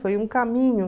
Foi um caminho.